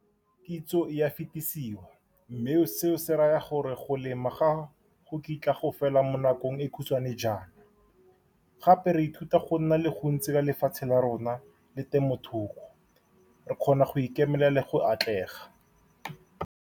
Kitso e a fetisiwa, mme seo se raya gore go lema ga go kitla go fela mo nakong e e khutshwane jaana. Gape, re ithuta go nna le go ntse ka lefatshe la rona le temothuo, re kgona go ikemelela le go atlega.